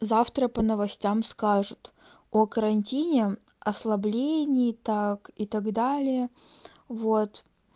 завтра по новостям скажут о карантине ослабление так и так далее вот